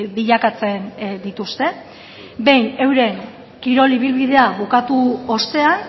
bilakatzen dituzte behin euren kirol ibilbidea bukatu ostean